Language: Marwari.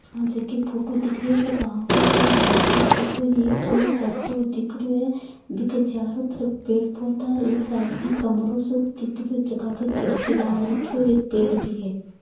यह जी की फोटो है दिख रही है वो गो का कोई तालाब की फोटो है कुछ लोग जागते हुए दिख रहे है नदी के चारो तरफ पेड़ पोधा है ए राईट साइड में कमरा सो खिड़की लगा के राखी हुई है पेड़ भी है।